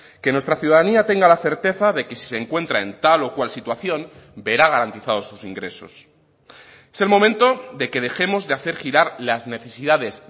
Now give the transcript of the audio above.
que nuestra ciudadanía tenga la certeza de que si se encuentra en tal o cual situación verá garantizados sus ingresos es el momento de que dejemos de hacer girar las necesidades